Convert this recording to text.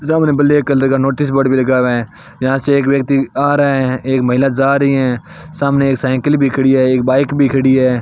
सामने black colour का notice board भी लगा हुआ है यहां से एक व्यक्ति आ रहा है एक महिला जा रही है सामने एक साइकिल भी खड़ी है एक बाइक भी खड़ी है।